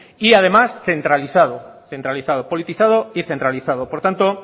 y además centralizado centralizado politizado y centralizado por tanto